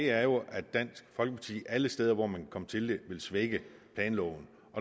er jo at dansk folkeparti alle steder hvor man kan komme til det vil svække planloven